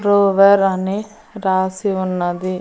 Uber అని రాసి ఉన్నది.